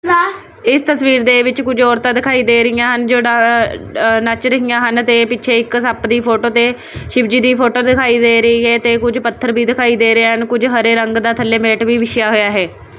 । ਇਸ ਤਸਵੀਰ ਦੇ ਵਿੱਚ ਕੁਝ ਔਰਤਾਂ ਦਿਖਾਈ ਦੇ ਰਹੀਆਂ ਹਨ ਜਿਹੜਾ ਨੱਚ ਰਹੀਆਂ ਹਨ ਤੇ ਪਿੱਛੇ ਇੱਕ ਸਾਂਪ ਦੀ ਫੋਟੋ ਤੇ ਸ਼ਿਵ ਜੀ ਦੀ ਫੋਟੋ ਦਿਖਾਈ ਦੇ ਰਹੀ ਹੈ ਤੇ ਕੁਝ ਪੱਥਰ ਵੀ ਦਿਖਾਈ ਦੇ ਰਹੇ ਹਨ ਕੁਝ ਹਰੇ ਰੰਗ ਦਾ ਥੱਲੇ ਮੈਟ ਵੀ ਬਿਛਿਆ ਹੋਇਆ ਹੈ।